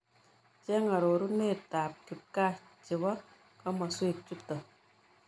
Chen'g arorunetap kipkaa chebo komoswek chuuton